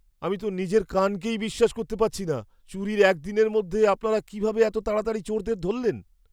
আমি তো নিজের কানকেই বিশ্বাস করতে পারছি না! চুরির একদিনের মধ্যে আপনারা কীভাবে এত তাড়াতাড়ি চোরদের ধরলেন?